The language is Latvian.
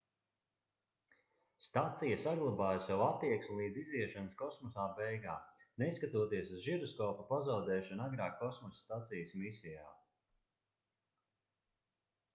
stacija saglabāja savu attieksmi līdz iziešanas kosmosā beigām neskatoties uz žiroskopa pazaudēšanu agrāk kosmosa stacijas misijā